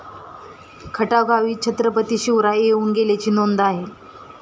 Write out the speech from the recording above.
खटाव गावी छत्रपती शिवराय येवून गेल्याची नोंद आहे.